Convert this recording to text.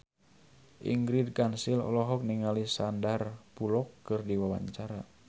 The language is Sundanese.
Ingrid Kansil olohok ningali Sandar Bullock keur diwawancara